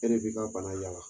E de b'i ka bana y'a la.